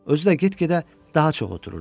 Özü də get-gedə daha çox otururdu.